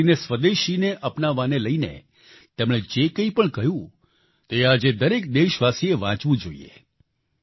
ખાસ કરીને સ્વદેશીને અપનાવવાને લઈને તેમણે જે કંઈપણ કહ્યું તે આ જે દરેક દેશવાસીએ વાંચવું જોઈએ